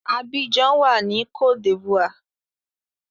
Abidjan wà ní cote d'Ivoire.